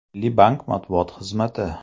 Milliy bank matbuot xizmati .